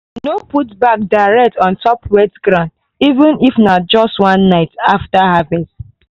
no put bag direct on top wet ground even if na just one night after harvest.